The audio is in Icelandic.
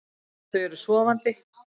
Þau eru sofandi.